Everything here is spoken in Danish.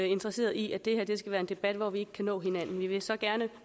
interesseret i at det her skal være en debat hvor vi ikke kan nå hinanden vi ville så gerne